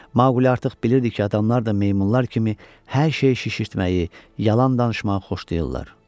Maquli artıq bilirdi ki, adamlar da meymunlar kimi hər şeyi şişirtməyi, yalan danışmağı xoşlayırlar.